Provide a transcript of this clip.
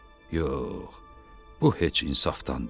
Yox, bu heç insafdan deyil.